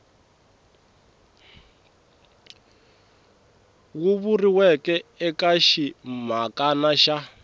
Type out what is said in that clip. wu vuriweke eka ximhakana xa